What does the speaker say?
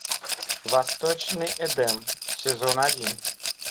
восточный эдем сезон один